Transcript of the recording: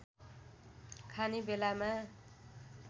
खाने बेलामा